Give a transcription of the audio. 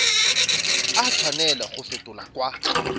a tshwanela go fetolwa kwa